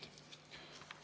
Aitäh!